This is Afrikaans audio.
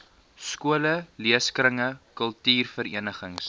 skole leeskringe kultuurverenigings